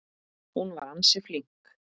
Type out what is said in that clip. Hún var ansi flink.